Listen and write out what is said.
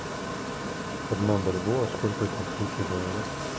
одна бальбоа сколько это австралийских долларов